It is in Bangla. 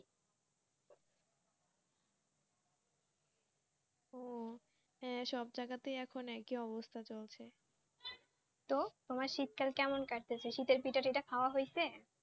ও সব জায়গাতে এখন একই অবস্থা তো শীত কাল কেমন কাটছে শীত পিঠা খাওয়া হয়েছে